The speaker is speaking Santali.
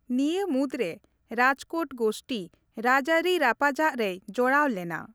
ᱱᱤᱭᱟᱹ ᱢᱩᱫxᱨᱮ ᱨᱟᱡᱽᱠᱳᱴ ᱜᱳᱥᱴᱤ ᱨᱟᱡᱽᱟᱹᱨᱤ ᱨᱟᱯᱟᱪᱟᱜ ᱨᱮᱭ ᱡᱚᱲᱟᱣ ᱞᱮᱱᱟ ᱾